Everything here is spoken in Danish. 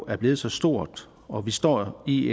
er blevet så stort og vi står i